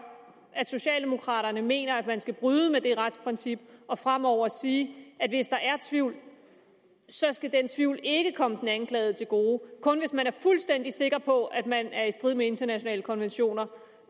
at socialdemokraterne mener at man skal bryde med det retsprincip og fremover sige at hvis der er tvivl så skal den tvivl ikke komme den anklagede til gode og kun hvis man er fuldstændig sikker på at man er i strid med internationale konventioner